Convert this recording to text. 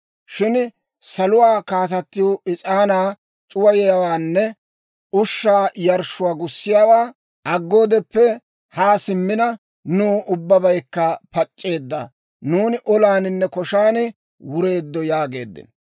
Shin Saluwaa Kaatatiw is'aanaa c'uwayiyaawaanne ushshaa yarshshuwaa gussiyaawaa aggoodeppe haa simmina, nuw ubbabaykka pac'c'eedda; nuuni olaaninne koshan wureeddo» yaageeddino.